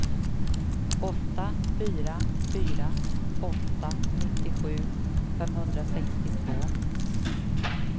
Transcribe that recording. åtta fyra fyra åtta nittiosju femhundrasextiotvå